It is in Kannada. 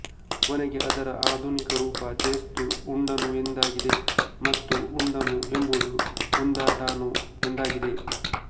ಕೊನೆಗೆ ಅದರ ಆಧುನಿಕ ರೂಪ ಚೇಸ್ತು ಉಂಡುನು ಎಂದಾಗಿದೆ ಮತ್ತು ಉಂಡುನು ಎಂಬುದು ಉಂದಟಾನು ಎಂದಾಗಿದೆ